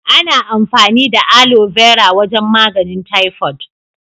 Ana amfani da Aloe Vera wajen maganin "typhoid".